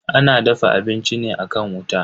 Ana dafa abinci ne akan wuta.